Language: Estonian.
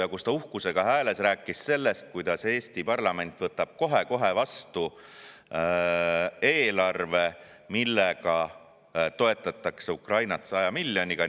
Ta rääkis uhkusega hääles sellest, kuidas Eesti parlament võtab kohe-kohe vastu eelarve, kus toetatakse Ukrainat 100 miljoniga.